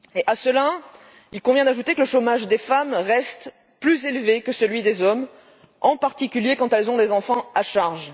À cela, il convient d'ajouter que le chômage des femmes reste plus élevé que celui des hommes, en particulier quand elles ont des enfants à charge.